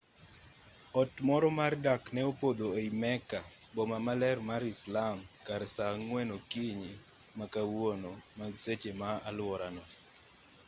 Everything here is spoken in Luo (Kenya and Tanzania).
ot moro mar dak ne opodho ei mecca boma maler mar islam kar saa 10 o'clock okinyi ma kawuono mag seche ma aluorano